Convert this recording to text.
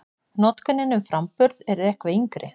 Notkunin um framburð er eitthvað yngri.